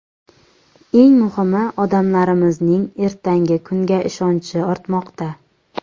Eng muhimi, odamlarimizning ertangi kunga ishonchi ortmoqda.